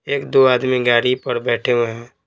एक दो आदमी गाड़ी पर बैठे हुए हैं।